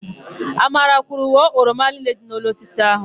Amara kwuru, "ghọọ oroma niile dị n'elu osisi áhụ̀"!